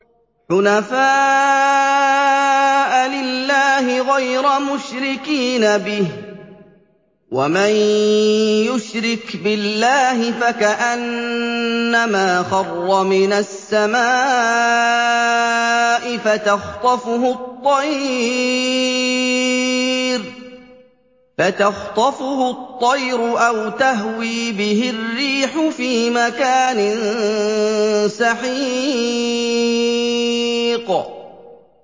حُنَفَاءَ لِلَّهِ غَيْرَ مُشْرِكِينَ بِهِ ۚ وَمَن يُشْرِكْ بِاللَّهِ فَكَأَنَّمَا خَرَّ مِنَ السَّمَاءِ فَتَخْطَفُهُ الطَّيْرُ أَوْ تَهْوِي بِهِ الرِّيحُ فِي مَكَانٍ سَحِيقٍ